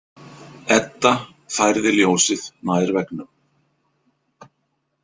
Edda færði ljósið nær veggnum.